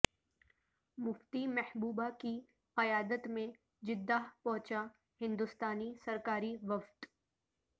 مفتی محبوبہ کی قیادت میں جدہ پہونچاہندوستانی سرکاری وفد